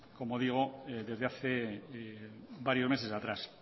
como digo desde hace varios meses atrás